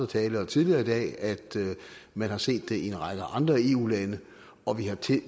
talere tidligere i dag at man har set det i en række andre eu lande og vi har